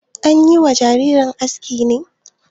An yi wa jarirai aski ne?